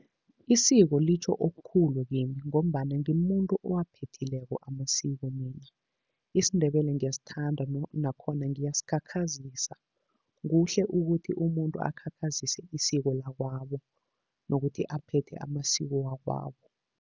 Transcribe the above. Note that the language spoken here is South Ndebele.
Isiko litjho okukhulu kimi ngombana ngimuntu owaphethileko amasiko mina. IsiNdebele ngiyasithanda nakhona ngiyazikhakhazisa. Kuhle ukuthi umuntu akhakhazisw isiko lakwabo nokuthi aphethe amasiko wakwabo.